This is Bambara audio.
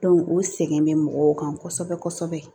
o sɛgɛn bɛ mɔgɔw kan kosɛbɛ kosɛbɛ